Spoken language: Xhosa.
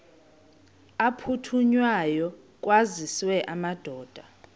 aphuthunywayo kwaziswe amadoda